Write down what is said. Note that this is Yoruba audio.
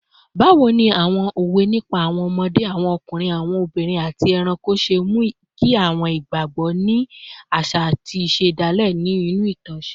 Báwo ni àwọn òwe nípa àwọn ọmọdé, àwọn ọkùnrin, obìnrin, àti ẹranko ṣe mú kí àwọn ìgbàgbọ́ àti àṣà àṣà ìṣẹ̀dálẹ̀ inú ìtàn ṣe?